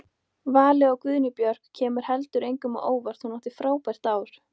Valið á Guðný Björk kemur heldur engum á óvart, hún átti frábært ár.